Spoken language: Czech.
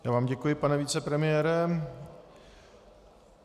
Já vám děkuji, pane vicepremiére.